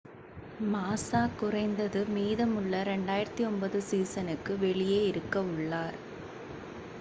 மாஸா குறைந்தது மீதமுள்ள 2009 சீசனுக்கு வெளியே இருக்கவுள்ளார்